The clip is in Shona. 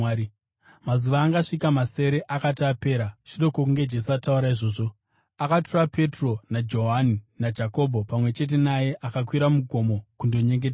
Mazuva angasvika masere akati apera, shure kwokunge Jesu ataura izvozvo, akatora Petro naJohani naJakobho pamwe chete naye akakwira mugomo kundonyengetera.